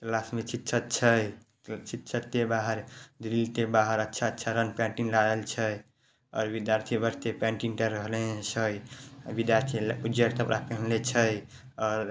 class में शिक्षक छै शिक्षक के बाहर ग्रिल के बाहर अच्छा-अच्छा रंग पेंटिंग लागल छै और विद्यार्थी बैठ के पेटिंग काय रहले छै विद्यार्थी ऊजर कपड़ा पहिनले छै और --